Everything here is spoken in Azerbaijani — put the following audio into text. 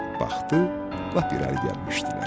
Baxdı, lap irəli gəlmişdilər.